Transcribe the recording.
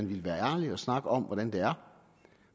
ville være ærlig og snakke om hvordan det er